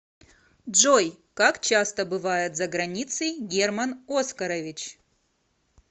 джой как часто бывает за границей герман оскарович